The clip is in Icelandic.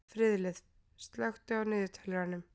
Friðleif, slökktu á niðurteljaranum.